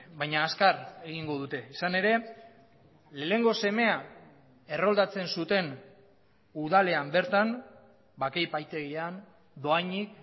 baina azkar egingo dute izan ere lehenengo semea erroldatzen zuten udalean bertan bake epaitegian dohainik